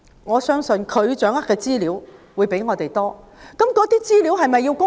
我相信政府掌握的資料較我們多，但那些資料是否必須公開？